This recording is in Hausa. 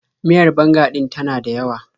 Miyar banga ɗin ta na dayawa.